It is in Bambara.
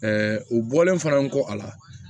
u bɔlen fana n kɔ a la